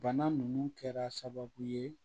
Bana nunnu kɛra sababu ye